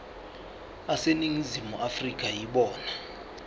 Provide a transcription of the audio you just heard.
aseningizimu afrika yibona